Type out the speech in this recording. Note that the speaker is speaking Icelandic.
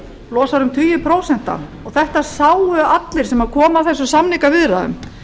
losar um tugi prósenta þetta sáu allir sem komu að þessum samningaviðræðum